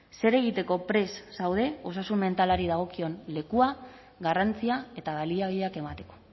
zer egiteko prest zaude osasun mentalari dagokion lekua garrantzia eta baliabideak emateko